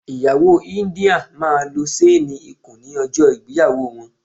Ìyàwó India máa lo ṣéénì ikùn ní ọjọ́ ìgbéyàwó wọn.